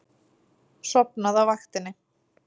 Sofnað á vaktinni.